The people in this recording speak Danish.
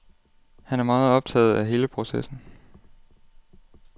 Han er meget optaget af hele processen.